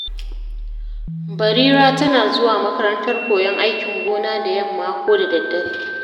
Barira tana zuwa makarantar koyon aikin gona da yamma ko da daddare.